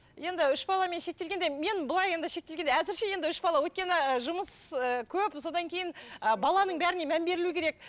енді үш баламен шектелгенде мен былай енді шектелгенде әзірше енді үш бала өйткені і жұмыс ыыы көп содан кейін ы баланың бәріне мән берілу керек